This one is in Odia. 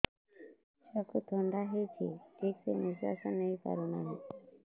ଛୁଆକୁ ଥଣ୍ଡା ହେଇଛି ଠିକ ସେ ନିଶ୍ୱାସ ନେଇ ପାରୁ ନାହିଁ